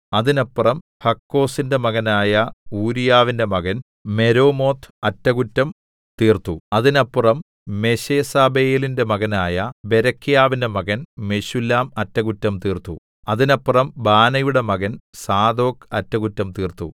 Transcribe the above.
അതിനപ്പുറം ഹക്കോസിന്റെ മകനായ ഊരീയാവിന്റെ മകൻ മെരേമോത്ത് അറ്റകുറ്റം തീർത്തു അതിനപ്പുറം മെശേസ്സബെയേലിന്റെ മകനായ ബേരെഖ്യാവിന്റെ മകൻ മെശുല്ലാം അറ്റകുറ്റം തീർത്തു അതിനപ്പുറം ബാനയുടെ മകൻ സാദോക്ക് അറ്റകുറ്റം തീർത്തു